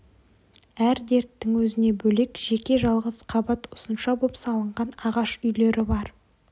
әр дерттің өзіне бөлек жеке жалғыз қабат ұзынша боп салынған ағаш үйлері бар